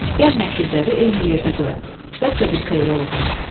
Gəl əkizləri eyni yerdə qoyaq, bəlkə bir xeyri oldu.